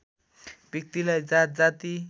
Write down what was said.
व्यक्तिलाई जात जाति